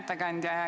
Hea ettekandja!